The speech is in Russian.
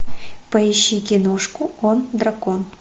поищи киношку он дракон